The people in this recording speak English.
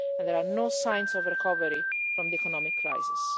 And there are no signs of recovery from the economic crisis.